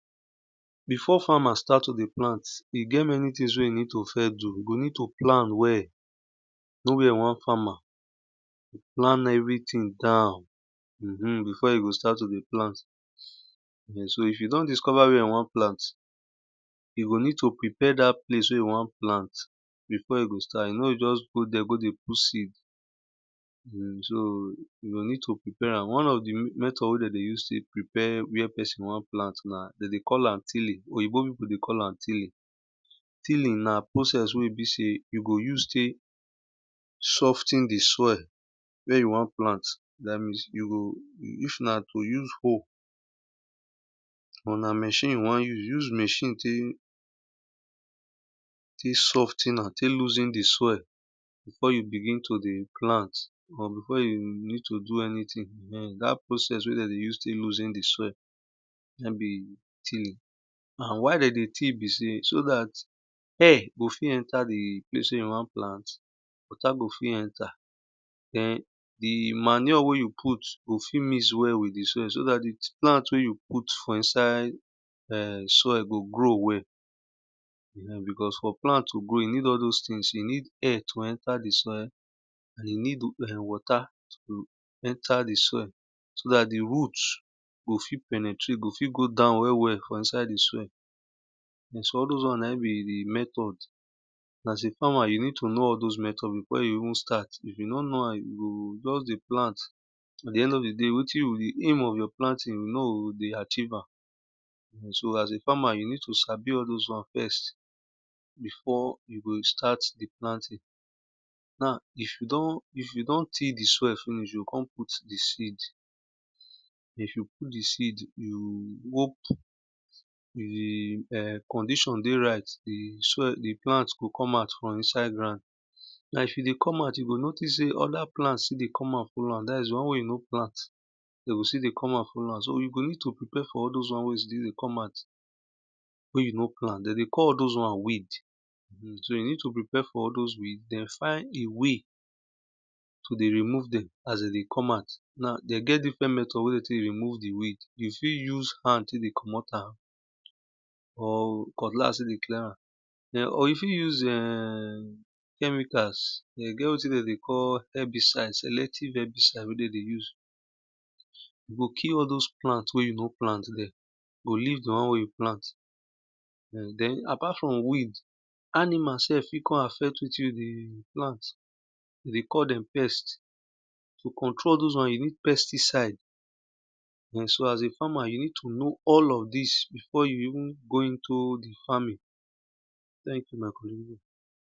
Before farmers start to dey plant, e get things wey e need to first do, e go need to plan well plan everything down before e go start to dey plant. So if don discover where e won plant, e go need to prepare datt place where e wan plant before e go e no o just go there go dey put seed so e go ned to prepare am. So one of di method wey de dey use to prepare where pesin won plant, so you go need to prepare am, one of di method wey de dey use to prepare where pesin won plant de dey call am tilling oyinbo pippu dey call am tiling. Tiling na where pesin won plant, you go use tek sof ten di soil wen you won plant, if na to use hoe but na machine you won use, use machine tek sof ten am, tek loosen di soil before you begin to dey plant or before you need to do anything dat priocss wey de dey use tek loosen di soil na in be tiling. Na why de dey till be sey so dat air go fit enter di place wy you wan plant, water go fit enter den di manure wey you put go fit mix well with di soil so dat di plant wey you put for inside soil go grow well because for plant to grow, you need all those thing, you need air to enter di soil, you need water to emter di soil so dat di root go fit penetrat go fit go down well well for inside di soil so all those wan na in be di method soas a farmer you need to know those method before you even start, you no know am you go just dey plant at di end of di day wetin be di aim of your planting, you nor o dey achieve am. So as a farmer you need to sabi all those wan before you go start I planting .now if you don till di soil finish, you o kon put di seed, if you don put di sed finish, d condition dey right, di soild di plant go come out from insie ground ife dey come out, you go know sey other plant still dey come out follow so you go need to prepare for all those wan wey e come out wey you no plant, de dey call those wan weed, so you need to porepare for all those weed den find way to tek dey remove de get different method wey de tek dey commot am, you fit use hand tek dey commot am or cutlass tek dey clear am or you fit use em chemicals den get wetin de dey call herbicide selective herbicide e go kill all those plant wey you no plant, den apart from weed, animals sef fit kon affect wetin you dey plant, we call dem pest, to control allthosewan, you need pesticide so as a farmer, you need to know all of dis befioe you even go into farming,